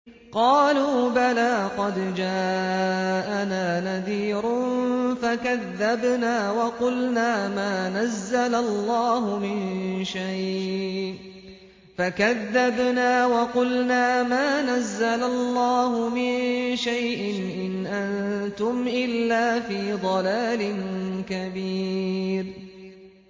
قَالُوا بَلَىٰ قَدْ جَاءَنَا نَذِيرٌ فَكَذَّبْنَا وَقُلْنَا مَا نَزَّلَ اللَّهُ مِن شَيْءٍ إِنْ أَنتُمْ إِلَّا فِي ضَلَالٍ كَبِيرٍ